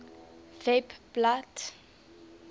webblad